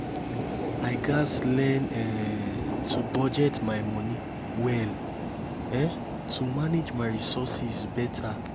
i gats learn um to budget my money well um to manage my resources better.